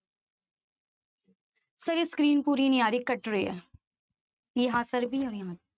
screen ਪੂਰੀ ਨੀ ਆ ਰਹੀ ਕੱਟ ਰਹੀ ਹੈ